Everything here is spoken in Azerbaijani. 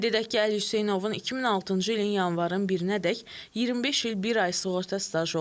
Qeyd edək ki, Əli Hüseynovun 2006-cı ilin yanvarın 1-nədək 25 il bir ay sığorta stajı olub.